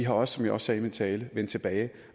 også som jeg sagde i min tale vendt tilbage